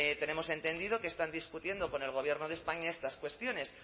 tenemos entendido que están discutiendo con el gobierno de españa estas cuestiones